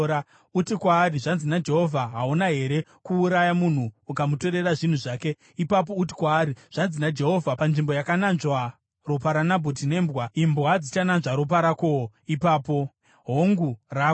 Uti kwaari, ‘Zvanzi naJehovha: Hauna here kuuraya munhu ukamutorera zvinhu zvake?’ Ipapo uti kwaari, ‘Zvanzi naJehovha: Panzvimbo yakananzvwa ropa raNabhoti nembwa, imbwa dzichananzva ropa rakowo ipapo, hongu, rako!’ ”